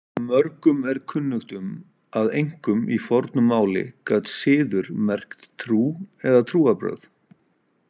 Mörgum er kunnugt um að einkum í fornu máli gat siður merkt trú eða trúarbrögð.